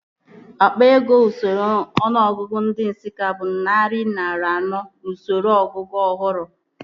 Akpa ego n'usoro ọnụọgụgụ ndị Nsụka bụ narị naira anọ n'usoro ọnụọgụgụ ọhụrụ